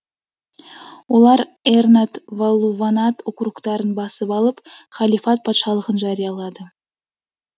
олар эрнад валлуванад округтарын басып алып халифат патшалығын жариялады